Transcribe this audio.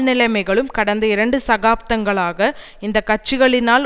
நிலைமைகளும் கடந்த இரண்டு சகாப்தங்களாக இந்த கட்சிகளினால்